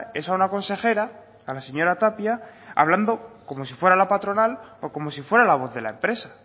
es a una consejera a la señora tapia hablando como si fuera la patronal o como si fuera la voz de la empresa